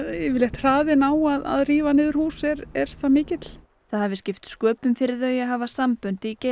hraðinn á að rífa niður hús er er það mikill það hafi skipt sköpum fyrir þau að hafa sambönd